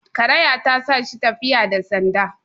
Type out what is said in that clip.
karaya ta sa shi tafiyabda sanda